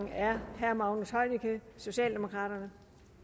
er herre magnus heunicke socialdemokraterne